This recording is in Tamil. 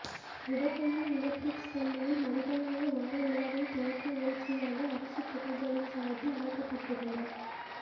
உதகையில் உள்ள பிரீக்ஸ் பள்ளியில் மனிதநேய வார விழாவின் தொடக்க நிகழ்ச்சியாக அரசுத் துறைகளின் சாா்பில் அமைக்கப்பட்டிருந்த